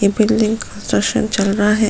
ये building construction चल रहा है।